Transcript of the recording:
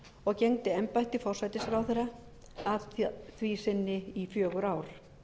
og gegndi embætti forsætisráðherra að því sinni í fjögur ár